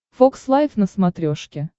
фокс лайф на смотрешке